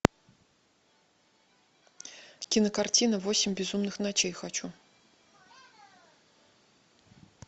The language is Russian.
кинокартина восемь безумных ночей хочу